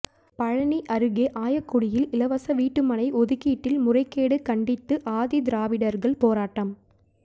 பழநி அருகே ஆயக்குடியில் இலவச வீட்டு மனை ஒதுக்கீட்டில் முறைகேடு கண்டித்து ஆதிதிராவிடர்கள் போராட்டம்